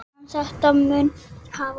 En þetta mun hafast.